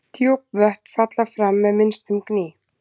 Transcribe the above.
Djúp vötn falla fram með minnstum gný.